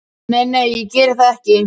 Nei, nei, ég geri það ekki.